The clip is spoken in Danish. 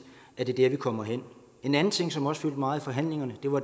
at det er dér vi kommer hen en anden ting som også fyldte meget i forhandlingerne